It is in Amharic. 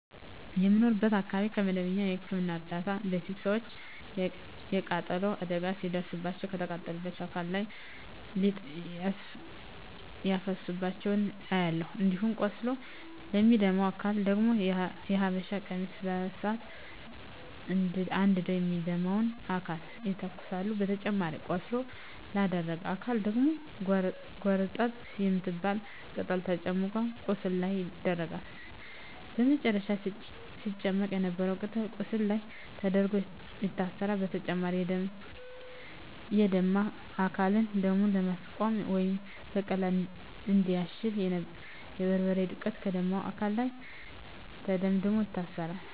በምኖርበት አካባቢ ከመደበኛ የህክምና እርዳታ በፊት ሰወች የቃጠሎ አደጋ ሲደርስባቸው ከተቃጠለው አካል ላይ ሊጥ ሲያፈሱባቸው አያለሁ። እንዲሁም ቆስሎ ለሚደማ አካል ደግሞ የሀበሻ ቀሚስ በሳት አንድደው የሚደማውን አካል ይተኩሳሉ በተጨማሪም ቆስሎ ላደረ አካል ደግሞ ጎርጠብ የምትባል ቅጠል ተጨምቆ ቁስሉ ላይ ይደረጋል በመጨረም ሲጨመቅ የነበረው ቅጠል ቁስሉ ላይ ተደርጎ ይታሰራል። በተጨማሪም የደማ አካልን ደሙን ለማስቆመረ ወይም በቀላሉ እንዲያሽ የበርበሬ ዱቄት ከደማው አካል ላይ ተደምድሞ ይታሰራል።